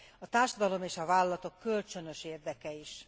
A társadalom és a vállalatok kölcsönös érdeke is.